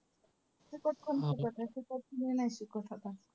फुकट कोण शिकवतंय? फुकट कोणी नाही शिकवत आता.